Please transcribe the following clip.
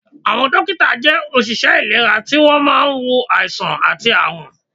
Àwọn dókítà jẹ́ òṣìṣẹ́ ìlera tí wọ́n máa ń wo àìsàn àti àrùn